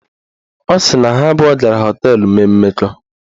Ọ sị na ha abụọ gara họteelụ mee mmekọ